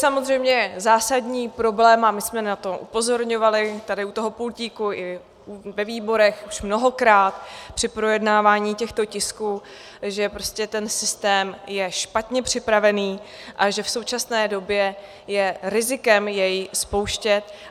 Samozřejmě zásadní problém, a my jsme na to upozorňovali tady u toho pultíku i ve výborech už mnohokrát při projednávání těchto tisků, že prostě ten systém je špatně připravený a že v současné době je rizikem jej spouštět.